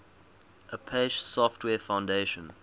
apache software foundation